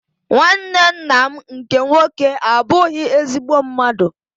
Nwanne ńnà m nke nwoke abughi ezigbo mmadụ.